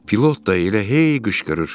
Pilot da elə hey qışqırır.